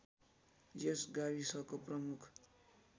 यस गाविसको प्रमुख